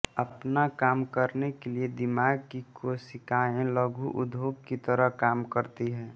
अपना काम करने के लिए दिमाग की कोशिकाएं लघु उद्योग की तरह काम करती हैं